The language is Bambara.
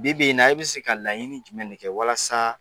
Bi b'i na i bɛ se ka laɲinin jumɛn ne kɛ walasaa